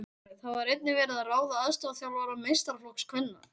Þá var einnig verið að ráða aðstoðarþjálfara meistaraflokks kvenna.